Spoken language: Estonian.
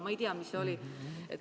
Ma ei tea, mis see oli.